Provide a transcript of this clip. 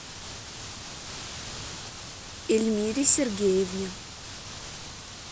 эльмире сергеевне